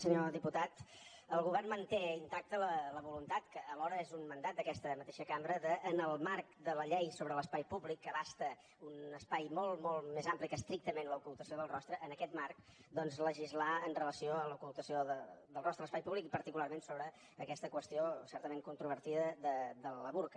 senyor diputat el govern manté intacta la voluntat que alhora és un mandat d’aquesta mateixa cambra de en el marc de la llei sobre l’espai públic que abasta un espai molt molt més ampli que estrictament l’ocultació del rostre en aquest marc doncs legislar amb relació a l’ocultació del rostre a l’espai públic i particularment sobre aquesta qüestió certament controvertida del burca